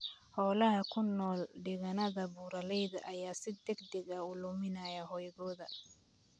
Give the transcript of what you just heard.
Xoolaha ku nool deegaannada buuraleyda ayaa si degdeg ah u luminaya hoygooda.